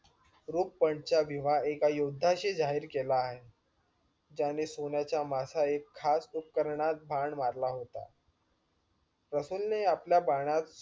रुपणाचा विवाह एका योध्याशी जाहीर केला आहे. ज्याने सोन्याचा मासा एक खास उपकरणात बाण मारला होता. रसूल ने आपल्या बाणात